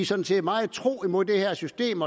sådan set meget tro mod det her system